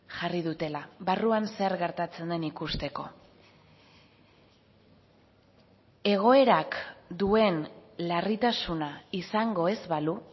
jarri dutela barruan zer gertatzen den ikusteko egoerak duen larritasuna izango ez balu